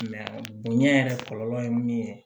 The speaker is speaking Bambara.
bonya yɛrɛ kɔlɔlɔ ye min ye